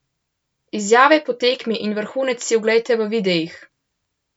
Izjave po tekmi in vrhunce si oglejte v videih!